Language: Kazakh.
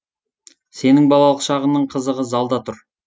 сенің балалық шағыңның қызығы залда тұр